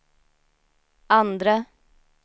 andre